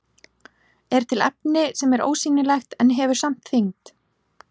Er til efni sem er ósýnilegt en hefur samt þyngd?